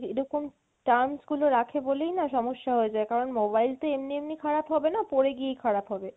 এরকম terms গুলো রাখে বলেইনা সমস্যা হয়ে যায় কারণ mobile তো এমনি এমনি খারাপ হবেনা পড়ে গিয়েই খারাপ হবে না পড়ে গিয়েই খারাপ হবে।